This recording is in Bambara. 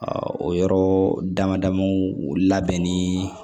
o yɔrɔ dama damaw labɛnni